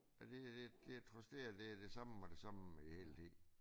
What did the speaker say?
Og det er det det trods det er det samme og det samme hele tiden